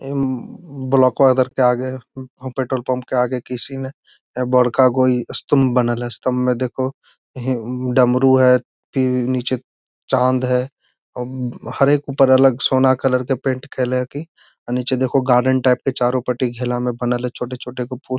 उम्म ब्लॉको इधर के आगे वहां पेट्रोल पंप के आगे किसी ने बड़का गो स्तंभ बनल हेय स्तंभ में देखोह ह डमरू हेय तीन नीचे चांद है हर एक ऊपर अलग सोना कलर के पेंट केले हकी नीचे देखोह गार्डन टाइप के चारों पटी घेला में बनल हेय छोटे-छोटे गो फूल।